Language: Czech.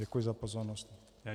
Děkuji za pozornost.